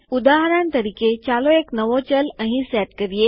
ઉદાહરણ તરીકે ચાલો એક નવો ચલ અહીં સેટ કરીએ